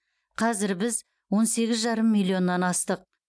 қазір біз он сегіз жарым миллионнан астық